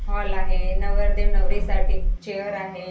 Hall आहे नवरदेव नवरीसाठी चेअर आहे.